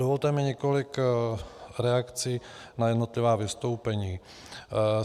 Dovolte mi několik reakcí na jednotlivá vystoupení.